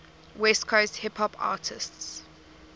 west coast hip hop artists